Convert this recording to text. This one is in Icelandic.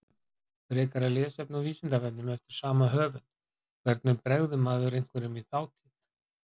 Frekara lesefni á Vísindavefnum eftir sama höfund: Hvernig bregður maður einhverjum í þátíð?